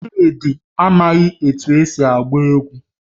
Chidi anaghị etu esi agba egwu